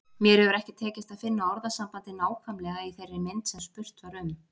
Mér hefur ekki tekist að finna orðasambandið nákvæmlega í þeirri mynd sem spurt var um.